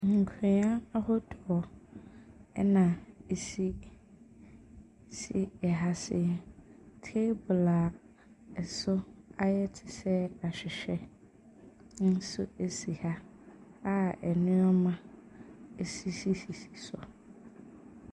Nkonwa ahodoɔ ɛna esisi ɛha sei, teebol a ɛso ayɛ te sɛ ahwehwɛ nso esi ha a ɛnoɔma esisi sisi so.